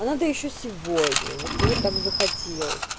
надо ещё сегодня вот мне так захотелось